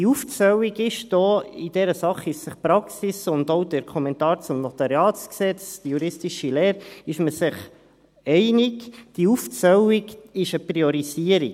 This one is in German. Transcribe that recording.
Diese Aufzählung – in dieser Sache sind sich die Praxis und auch der Kommentar zum NG, die juristische Lehre, einig –, diese Aufzählung ist eine Priorisierung.